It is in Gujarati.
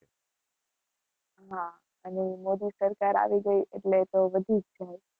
હા અને મોદી-સરકાર આવી ગઈ એટલે તો વધી જ જાય